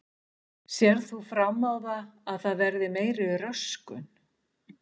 Sérð þú fram á það að það verði meiri röskun?